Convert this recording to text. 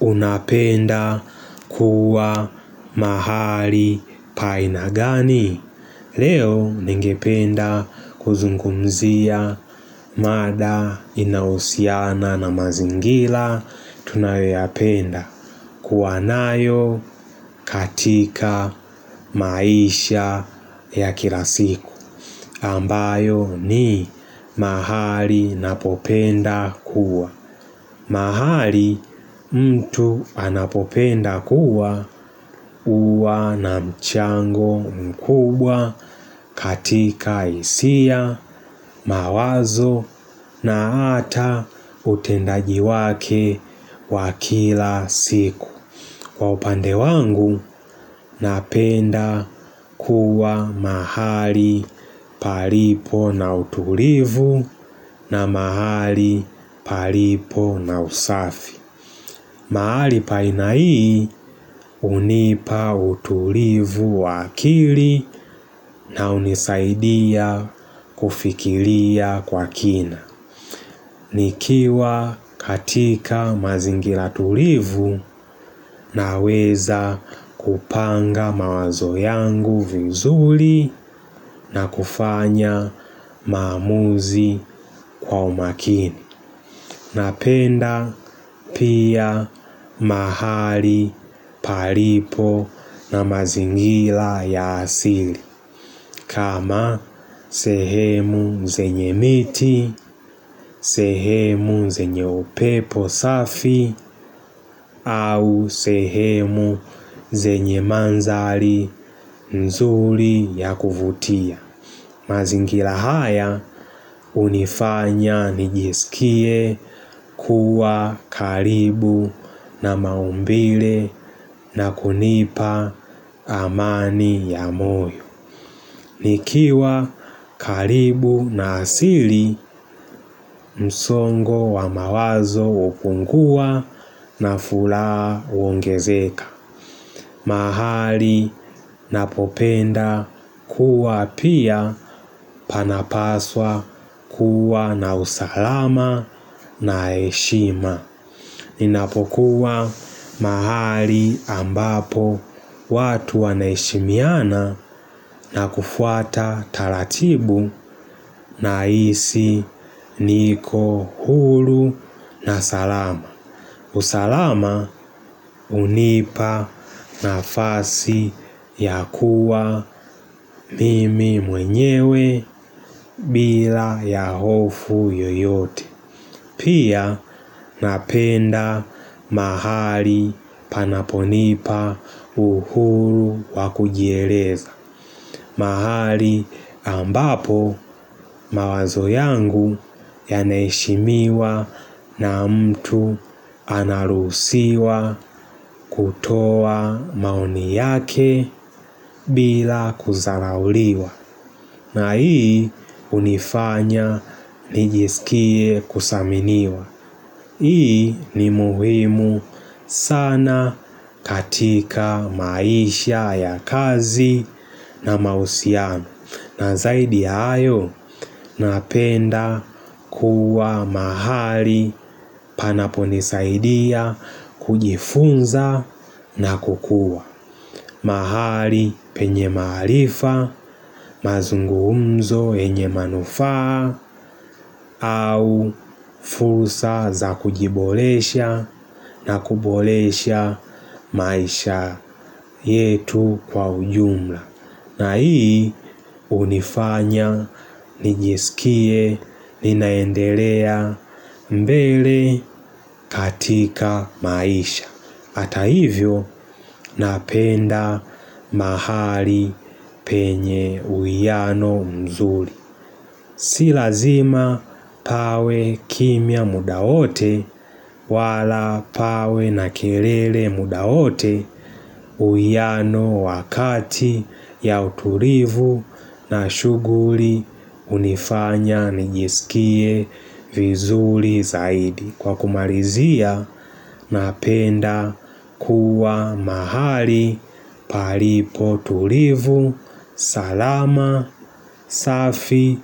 Unapenda kuwa mahali pa aina gani? Leo ningependa kuzungumzia mada inaousiana na mazingila. Tunayoyapenda kuwa nayo katika maisha ya kila siku. Ambayo ni mahali napopenda kuwa. Mahali mtu anapopenda kuwa uwa na mchango mkubwa katika hisia, mawazo na ata utendaji wake wa kila siku Kwa upande wangu napenda kuwa mahali palipo na utulivu na mahali palipo na usafi mahali pa aina hii hunipa utulivu wakili na hunisaidia kufikilia kwa kina nikiwa katika mazingila tulivu naweza kupanga mawazo yangu vuzuli na kufanya mamuzi kwa umakini Napenda pia mahali palipo na mazingila ya asili kama sehemu zenye miti, sehemu zenye upepo safi au sehemu zenye manzali nzuli ya kuvutia. Mazingila haya unifanya nijisikie kuwa karibu na maumbile na kunipa amani ya moyo nikiwa karibu na asili msongo wa mawazo hupungua na furaha uongezeka mahali na popenda kuwa pia panapaswa kuwa na usalama na heshima. Ninapokuwa mahali ambapo watu wanaeshimiana na kufuata talatibu nahisi niko hulu na salama. Usalama hunipa nafasi ya kuwa mimi mwenyewe bila ya hofu yoyote Pia napenda mahali panaponipa uhuru wa kujieleza mahali ambapo mawazo yangu yaneishimiwa na mtu anarusiwa kutoa mauni yake bila kudharauliwa na hii unifanya nijisikie kusaminiwa Hii ni muhimu sana katika maisha ya kazi na mausiano na zaidi hayo napenda kuwa mahali panaponisaidia kujifunza na kukua mahali penye mahalifa mazungumzo yenye manufaa au fursa za kujibolesha na kubolesha maisha yetu kwa ujumla na hii unifanya, nijiskie, ninaendelea mbele katika maisha Hata hivyo napenda mahali penye uiano mzuri Si lazima pawe kimya muda wote wala pawe na kilele muda wote uiano wakati ya uturivu na shuguri unifanya nijisikie vizuli zaidi. Kwa kumalizia napenda kuwa mahali palipo tulivu salama, safi